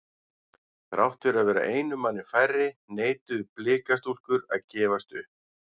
Þrátt fyrir að vera einum manni færri neituðu blika stúlkur að gefast upp.